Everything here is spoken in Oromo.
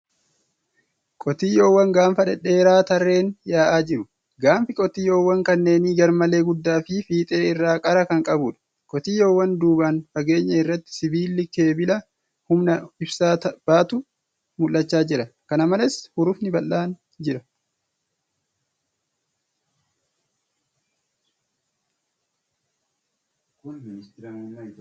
Qotiyyoowwan gaanfa dhedheeraa tarreen yaa'aa jiru. Gaanfi qotiyyoowwan kanneenii garmalee guddaa fi fiixee irraa qara kan qabuudha. Qotiyyoowwan duubaan fageenya irratti sibiilli keebila humna ibsaa baatu mul'achaa jira. Kana malees, hurufni bal'aan jira.